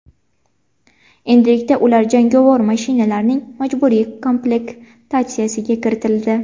Endilikda ular jangovar mashinalarning majburiy komplektatsiyasiga kiritildi.